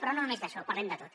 però no només d’això parlem de tot